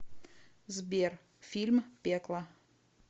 сбер фильм пекло